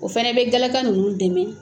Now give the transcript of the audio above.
O fana bɛ galaka nunnu dɛmɛ